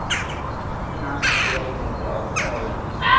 En allt í einu dró frá augum hennar.